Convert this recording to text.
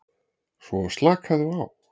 Svo slakaðu á.